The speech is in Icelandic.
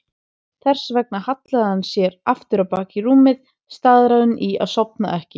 Þess vegna hallaði hann sér aftur á bak í rúmið, staðráðinn í að sofna ekki.